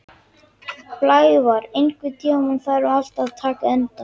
Blævar, einhvern tímann þarf allt að taka enda.